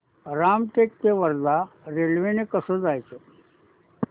रामटेक ते वर्धा रेल्वे ने कसं जायचं